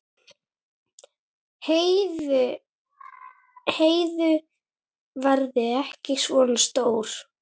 Heiðu verði ekki svona stór.